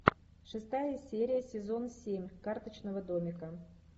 шестая серия сезон семь карточного домика